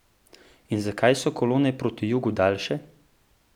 In zakaj so kolone proti jugu daljše?